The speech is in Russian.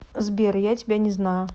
сбер я тебя не знаю